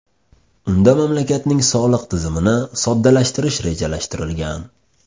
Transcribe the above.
Unda mamlakatning soliq tizimini soddalashtirish rejalashtirilgan.